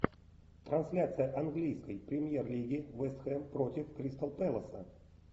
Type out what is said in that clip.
трансляция английской премьер лиги вест хэм против кристал пэласа